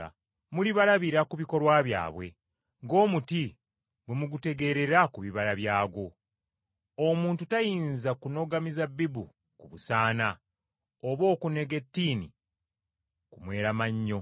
Mulibalabira ku bikolwa byabwe, ng’omuti bwe mugutegeerera ku bibala byagwo. Omuntu tayinza kunoga mizabbibu ku busaana oba okunoga ettiini ku mweramannyo.